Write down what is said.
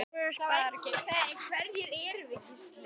Mig geym í gæslu þinni.